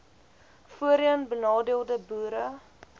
voorheen benadeelde boere